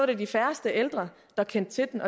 det de færreste ældre der kendte til